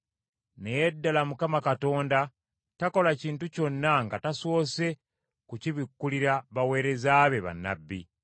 Naye ddala Mukama Katonda takola kintu kyonna nga tasoose kukibikkulira baweereza be, bannabbi.